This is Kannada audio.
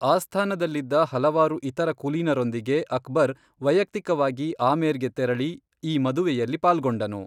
ಆಸ್ಥಾನದಲ್ಲಿದ್ದ ಹಲವಾರು ಇತರ ಕುಲೀನರೊಂದಿಗೆ ಅಕ್ಬರ್ ವೈಯಕ್ತಿಕವಾಗಿ ಆಮೇರ್ಗೆ ತೆರಳಿ, ಈ ಮದುವೆಯಲ್ಲಿ ಪಾಲ್ಗೊಂಡನು.